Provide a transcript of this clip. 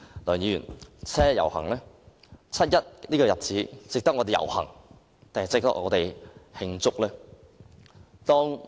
梁議員，七一這個日子值得我們遊行還是慶祝？